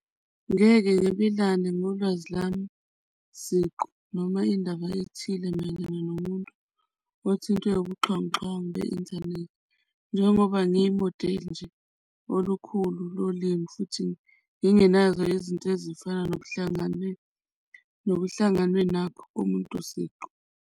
Ngeke ngolwazi lami siqu, noma indaba ethile mayelana nomuntu othintwe ubuxhwanguxhwangu be-inthanethi njengoba ngiyimodeli nje olukhulu lolimi futhi ngingenazo izinto ezifana nokuhlanganwe, nokuhlangene nakho komuntu siqu.